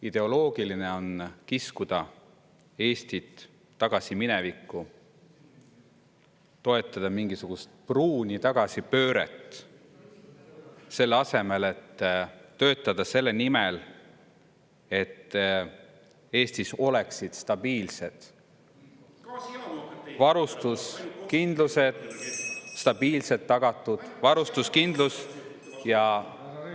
Ideoloogiline on kiskuda Eestit tagasi minevikku, toetada mingisugust pruuni tagasipööret, selle asemel et töötada selle nimel, et Eestis oleks stabiilselt tagatud varustuskindlus ja …